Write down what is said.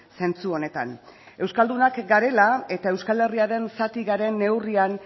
zentzu honetan euskaldunak garela eta euskal herriaren zati garen neurrian